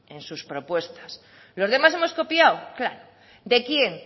en sus propuesta los demás hemos copiado claro de quién